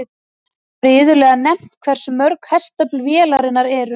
Þá er iðulega nefnt hversu mörg hestöfl vélarnar eru.